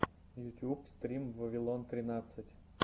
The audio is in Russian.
ютюб стрим вавилон тринадцать